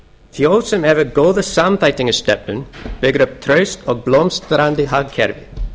þjóð sem hefur góða samþættingarstefnu byggir upp traust og blómstrandi hagkerfi